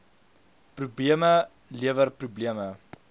probleme lewer probleme